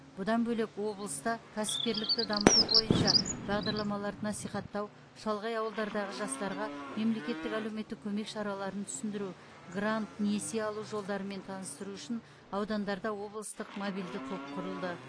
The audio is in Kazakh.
бұдан бөлек облыста кәсіпкерлікті дамыту бойынша бағдарламаларды насихаттау шалғай ауылдардағы жастарға мемлекеттік әлеуметтік көмек шараларын түсіндіру грант несие алу жолдарымен таныстыру үшін аудандарда облыстық мобильді топ құрылды